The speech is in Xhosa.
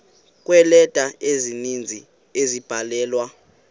kweeleta ezininzi ezabhalelwa